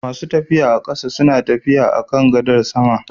Masu tafiya a ƙasa suna Tafiya akan gadar sama